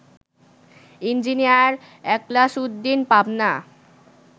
engineer Ekhlas Uddin, Pabna